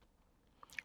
TV 2